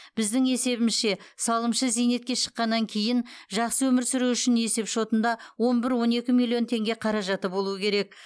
біздің есебімізше салымшы зейнетке шыққаннан кейін жақсы өмір сүруі үшін есепшотында он бір он екі миллион теңге қаражаты болуы керек